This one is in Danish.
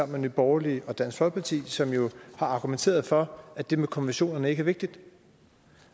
med nye borgerlige og dansk folkeparti som jo har argumenteret for at det med konventionerne ikke er vigtigt